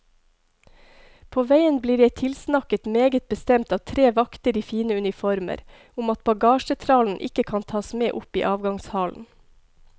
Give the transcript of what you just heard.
På veien blir jeg tilsnakket meget bestemt av tre vakter i fine uniformer om at bagasjetrallen ikke kan tas med opp i avgangshallen.